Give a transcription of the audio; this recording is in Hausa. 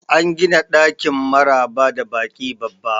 An gina ɗakin maraba da baki babba